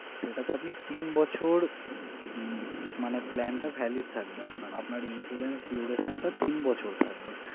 সেটা তে আপনি তিন বছর মানে plan টা valid থাকবে আরকি আপনার insurance duration টা তিন বছর।